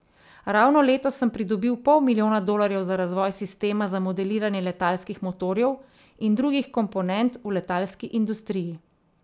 Ravno letos sem pridobil pol milijona dolarjev za razvoj sistema za modeliranje letalskih motorjev in drugih komponent v letalski industriji.